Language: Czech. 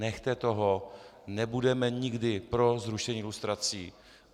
Nechte toho, nebudeme nikdy pro zrušení lustrací.